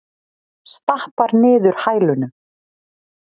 Stappar niður hælunum.